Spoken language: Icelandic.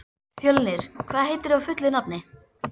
Fjölnir, hvað heitir þú fullu nafni?